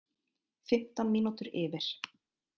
Fimmtán mínútur yfir